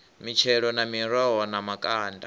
mitshelo na miroho na makanda